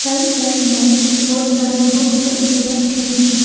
Right side में बहुत सारा बुक्स भी रखे हैं।